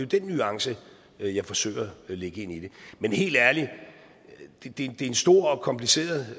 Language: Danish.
den nuance jeg forsøger at lægge ind i det men helt ærligt det er en stor og kompliceret